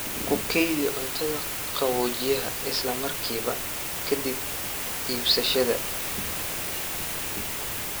Ku kaydi cuntada qaboojiyaha isla markiiba ka dib iibsashada.